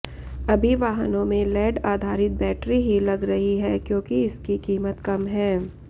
अभी वाहनों में लैड आधारित बैटरी ही लग रही हैं क्योंकि इसकी कीमत कम है